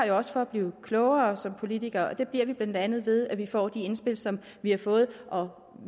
jo også for at blive klogere som politikere og det bliver vi blandt andet ved at vi får de indspil som vi har fået og